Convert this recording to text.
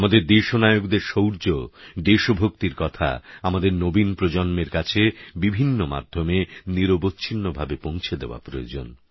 আমাদের দেশনায়কদের শৌর্য দেশভক্তির কথা আমাদের নবীন প্রজন্মের কাছে বিভিন্ন মাধ্যমে নিরবচ্ছিন্নভাবে পৌঁছে দেওয়া প্রয়োজন